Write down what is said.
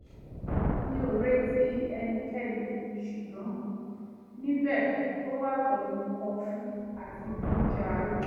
mi ò retí ẹnikẹ́ni ṣùgbọ́n níbẹ̀ ó wà pẹ̀lú kọfú àti oúnjẹ àárọ̀